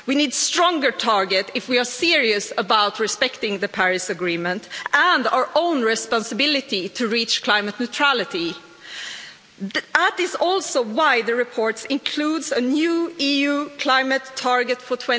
We need a stronger target if we are serious about respecting the Paris Agreement and our own responsibility to reach climate neutrality. This is also why the report includes a new EU climate target for